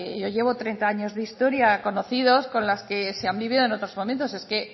yo llevo treinta años de historia conocidos con las que se han vivido en otros momentos es que